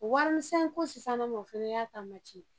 Warimisɛnko sisanama ma o fana y'a